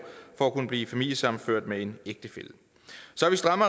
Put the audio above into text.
for at kunne blive familiesammenført med en ægtefælle så vi strammer